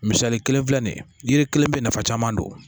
Misali kelen filɛ nin ye yiri kelen bɛ nafa caman don